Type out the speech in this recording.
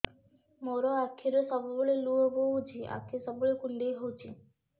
ମୋର ଆଖିରୁ ସବୁବେଳେ ଲୁହ ବୋହୁଛି ଆଖି ସବୁବେଳେ କୁଣ୍ଡେଇ ହଉଚି